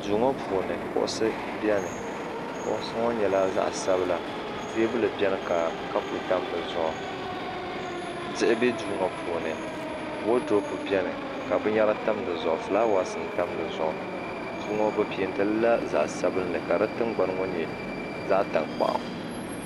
duu ŋɔ puuni kuɣusi biɛni kuɣusi ŋɔ nyɛla zaɣ sabila teebuli biɛni ka kapu tam dizuɣu diɣi bɛ duu ŋɔ puuni woodurop biɛni ka binyɛra tam dizuɣu fulaawaasi n tam dizuɣu duu ŋɔ bi penti lila zaɣ sabinli ka di tingbani ŋɔ nyɛ zaɣ tankpaɣu